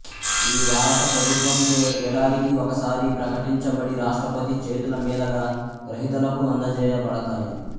ఇవి భారత ప్రభుత్వంచే ఏడాదికి ఒకసారి ప్రకటించబడి రాష్ట్రపతి చేతులమీదగా గ్రహీతలకు అందజేయబడతాయి